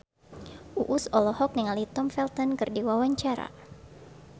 Uus olohok ningali Tom Felton keur diwawancara